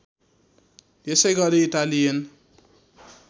यसै गरी इटालियन